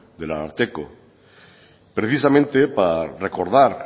del ararteko precisamente para recordar